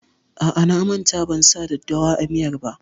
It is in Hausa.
A'a, na manta ban sa daddawa a miyar ba.